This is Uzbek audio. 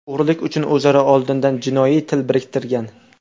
o‘g‘rilik uchun o‘zaro oldindan jinoiy til biriktirgan.